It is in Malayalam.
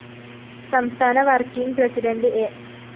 സംസ്ഥാന വര്‍ക്കിംഗ് പ്രസിഡന്റ് എ